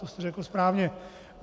To jste řekl správně.